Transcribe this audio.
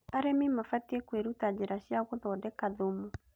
Arĩmi mabatiĩ kwĩruta njĩra cia gũthondeka thumu